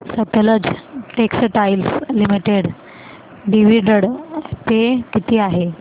Sutlej textiles limited dividend pay किती आहे